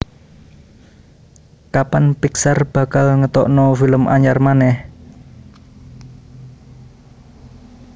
Kapan Pixar bakal ngetokno film anyar maneh?